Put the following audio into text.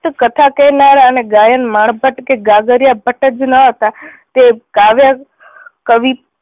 કથા કહેનારા અને ગાયન માણ ભટ્ટ કે ગગરિયા ભટ્ટ જ ન હતા તે કાવ્ય કવિ